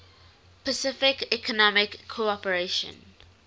pacific economic cooperation